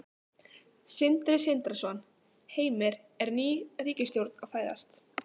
Sindri Sindrason: Heimir, er ný ríkisstjórn að fæðast?